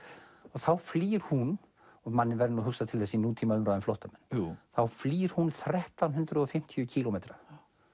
þá flýr hún og manni verður hugsað til þess í nútíma umræðu um flóttamenn þá flýr hún þrettán hundruð og fimmtíu kílómetra